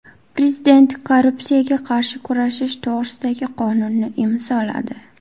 Prezident korrupsiyaga qarshi kurashish to‘g‘risidagi qonunni imzoladi .